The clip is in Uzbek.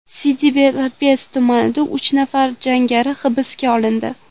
Siddi Belabbes tumanida uch nafar jangari hibsga olindi.